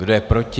Kdo je proti?